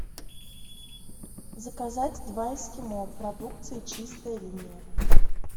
заказать два эскимо продукции чистая линия